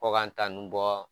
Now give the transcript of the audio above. Ko k'an ta ninnu bɔ